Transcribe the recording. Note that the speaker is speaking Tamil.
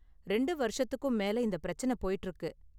ரெண்டு வருஷத்துக்கும் மேல இந்த பிரச்சன போய்ட்டு இருக்கு.